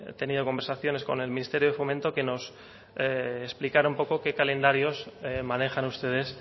tenido conversaciones con el ministerio de fomento que nos explicara un poco qué calendarios manejan ustedes